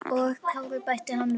Og Kári, bætti hann við.